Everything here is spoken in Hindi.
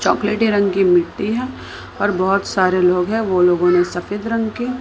चॉकलेटी रंग की मिट्टी है और बहोत सारे लोग हैं वो लोग उन्हें सफेद रंग के--